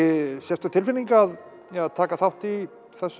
sérstök tilfinning að taka þátt í